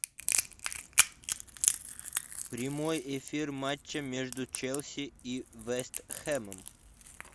прямой эфир матча между челси и вест хэмом